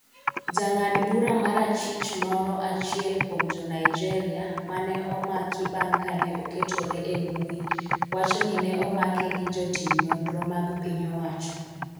ja ng'ad bura mar achich moro achiel kuom jo Nigeria mane omaki bang' kane oketore e mbui wacho ni ne omake gi jotim nonro mag piny owacho